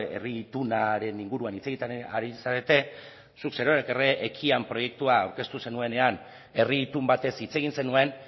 herri itunaren inguruan hitz egiten ari zarete zuk zerorrek ekian proiektua aurkeztu zenuenean herri itun batez hitz egin zenuen